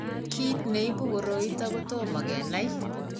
Kiit neibu koroiton kotomo kenai